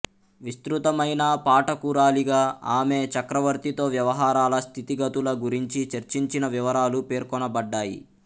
విస్తృతమైన పాఠకురాలిగా ఆమె చక్రవర్తితో వ్యవహారాల స్థితిగతుల గురించి చర్చించిన వివరాలు పేర్కొనబడ్డాయి